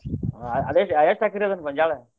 ಅದಕ್ಕ ಅದೇಷ್ಟ ಎಕರೆ ಆಕ್ಕೆತ್ರಿ ಗೊಂಜ್ಯಾಳ?